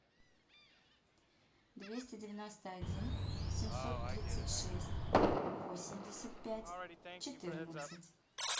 двести девяносто один семьсот тридцать шесть восемьдесят пять четырнадцать